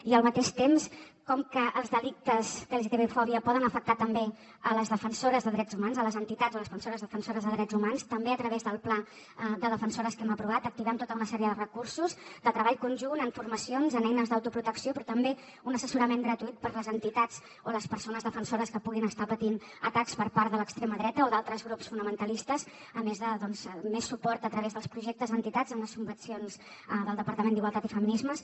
i al mateix temps com que els delictes d’lgtbi fòbia poden afectar també les defensores de drets humans les entitats o les persones defensores de drets humans també a través del pla de defensores que hem aprovat activem tota una sèrie de recursos de treball conjunt amb formacions amb eines d’autoprotecció però també un assessorament gratuït per a les entitats o les persones defensores que puguin estar patint atacs per part de l’extrema dreta o d’altres grups fonamentalistes a més de més suport a través dels projectes a entitats amb les subvencions del departament d’igualtat i feminismes